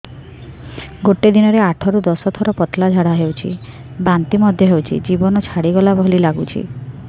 ଗୋଟେ ଦିନରେ ଆଠ ରୁ ଦଶ ଥର ପତଳା ଝାଡା ହେଉଛି ବାନ୍ତି ମଧ୍ୟ ହେଉଛି ଜୀବନ ଛାଡିଗଲା ଭଳି ଲଗୁଛି